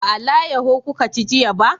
Ba alayaho kuka ci jiya ba?